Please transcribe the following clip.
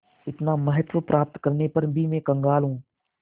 इतना महत्व प्राप्त करने पर भी मैं कंगाल हूँ